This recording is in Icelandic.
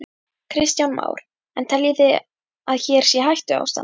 Kristján Már: En þið teljið að hér sé hættuástand?